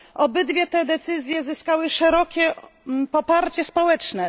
Obydwie te decyzje zyskały szerokie poparcie społeczne.